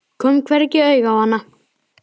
Kom hvergi auga á hana.